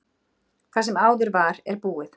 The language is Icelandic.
Það sem áður var, er búið.